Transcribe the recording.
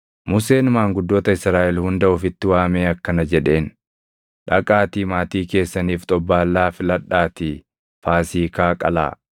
Museen maanguddoota Israaʼel hunda ofitti waamee akkana jedheen; “Dhaqaatii maatii keessaniif xobbaallaa filadhaatii Faasiikaa qalaa.